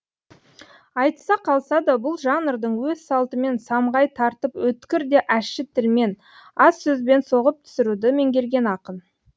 айтыса қалса да бұл жанрдың өз салтымен самғай тартып өткір де ащы тілмен аз сөзбен соғып түсіруді меңгерген ақын